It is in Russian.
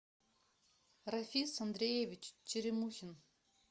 рафис андреевич черемухин